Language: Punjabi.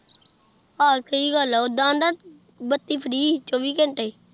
ਹਾਂ ਸਹੀ ਗੱਲ ਆ ਓਦਾ ਉਦੋਂ ਬੱਤੀ free ਚੋਵੀਂ ਘੰਟੇ